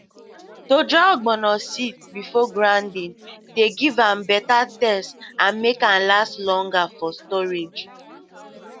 to dry ogbono seeds before grinding dey give better taste and make am last longer for storage